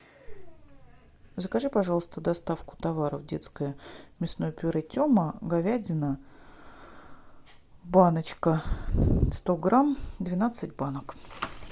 закажи пожалуйста доставку товаров детское мясное пюре тема говядина баночка сто грамм двенадцать банок